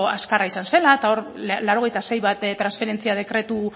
azkarra izan dela eta hor laurogeita sei transferentzia dekretu